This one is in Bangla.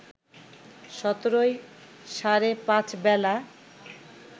১৭ই সাড়ে পাঁচ বেলা